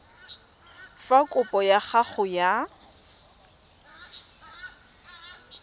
fa kopo ya gago ya